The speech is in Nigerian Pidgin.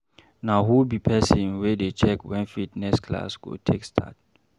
Na who be person wey dey check wen fitness class go take start?